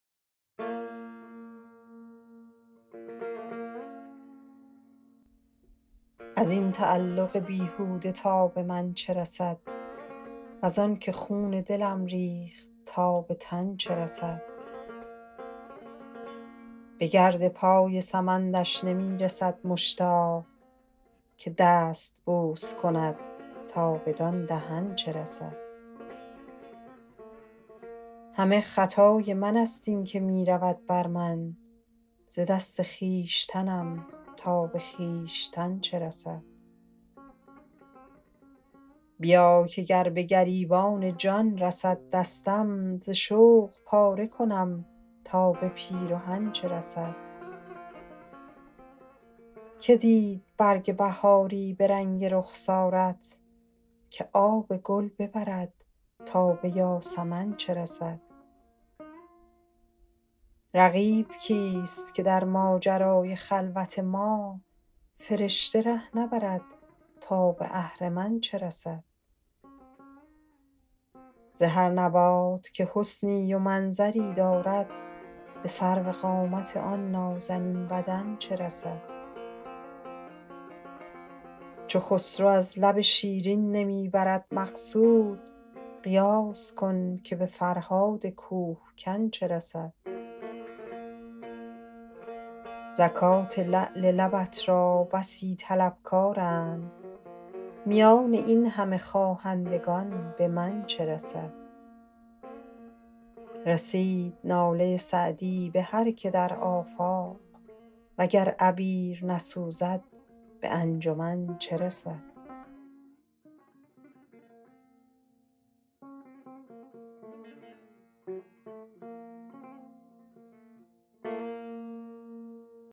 از این تعلق بیهوده تا به من چه رسد وز آن که خون دلم ریخت تا به تن چه رسد به گرد پای سمندش نمی رسد مشتاق که دست بوس کند تا بدان دهن چه رسد همه خطای من ست این که می رود بر من ز دست خویشتنم تا به خویشتن چه رسد بیا که گر به گریبان جان رسد دستم ز شوق پاره کنم تا به پیرهن چه رسد که دید رنگ بهاری به رنگ رخسارت که آب گل ببرد تا به یاسمن چه رسد رقیب کیست که در ماجرای خلوت ما فرشته ره نبرد تا به اهرمن چه رسد ز هر نبات که حسنی و منظری دارد به سروقامت آن نازنین بدن چه رسد چو خسرو از لب شیرین نمی برد مقصود قیاس کن که به فرهاد کوه کن چه رسد زکات لعل لبت را بسی طلبکارند میان این همه خواهندگان به من چه رسد رسید ناله سعدی به هر که در آفاق و گر عبیر نسوزد به انجمن چه رسد